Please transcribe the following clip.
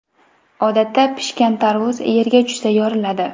Odatda pishgan tarvuz yerga tushsa yoriladi.